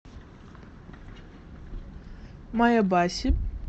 маэбаси